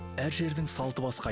әр жердің салты басқа